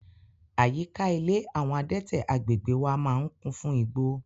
Àyíká ilé àwọn adẹ́tẹ̀ agbègbèe wa máa ń kún fún igbó.